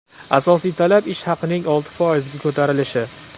Asosiy talab ish haqining olti foizga ko‘tarilishi.